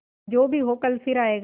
जो भी हो कल फिर आएगा